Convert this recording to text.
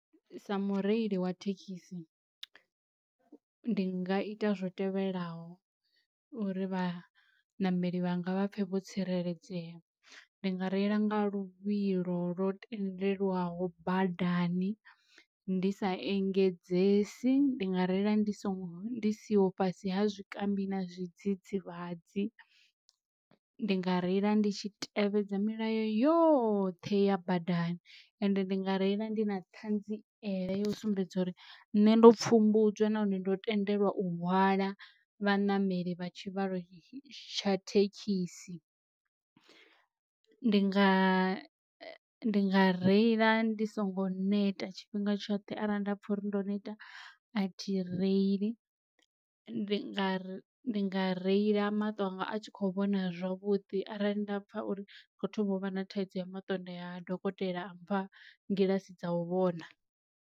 Sa mureili wa thekhisi ndi nga ita zwo tevhelaho uri vhaṋameli vhanga vha pfhe vho tsireledzea ndi nga reila nga luvhilo lwo tendelwaho badani ndi sa engedzesi, ndi nga reila ndi songo ndi siho fhasi ha zwikambi na zwidzidzivhadzi, ndi nga reila ndi tshi tevhedza milayo yoṱhe ya badani ende ndi nga reila ndi na ṱhanziela ya sumbedza uri nṋe ndo pfhumbudzwa nahone ndo tendelwa u hwala vhaṋameli vha tshivhalo tsha thekhisi. Ndi nga ndi nga reila ndi songo neta tshifhinga tshoṱhe arali nda pfha uri ndo neta a thi reili, ndi nga ri ndi nga reila maṱo anga a tshi kho vhona zwavhuḓi arali nda pfha uri ndi kho thoma uvha na thaidzo ya maṱo nda ya ha dokotela a mpha ngilssi dza u vhona.